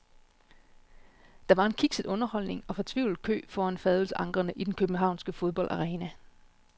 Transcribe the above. Der var en kikset underholdning og fortvivlet kø foran fadølsankrene i den københavnske fodboldarena.